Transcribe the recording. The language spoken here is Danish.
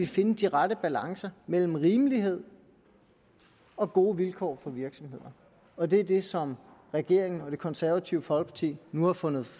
finde de rette balancer mellem rimelighed og gode vilkår for virksomhederne og det er det som regeringen og det konservative folkeparti nu har fundet